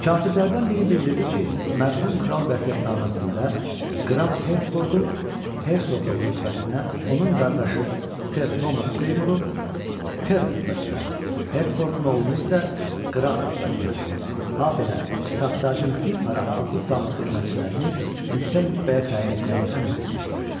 Katiblərdən biri bildirdi ki, mərhum kral vəsiyyətnaməsində qraf Hertfordu hersoqluq rütbəsinə, onun qardaşı ser Thomas Seymuru per rütbəsinə, Hertfordun oğlunu isə qraf rütbəsinə, habelə taxtacının bir para adlı-sanlı xidmətçilərini yüksək rütbəyə təyin etməyi əmr vermişdi.